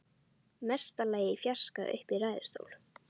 Mesta lagi í fjarska uppi í ræðustól.